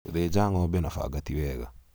gũthinja ng'ombe na banga tiwega